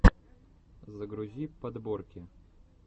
загрузи подборки